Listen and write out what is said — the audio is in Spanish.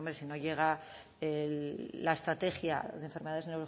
pues hombre si no llega la estrategia de enfermedades